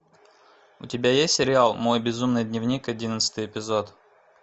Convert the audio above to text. у тебя есть сериал мой безумный дневник одиннадцатый эпизод